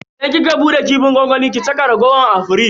Idan kika bude kifin gwangwamin ki saka raguwar a firij.